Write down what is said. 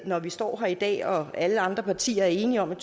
når vi står her i dag og alle andre partier er enige om at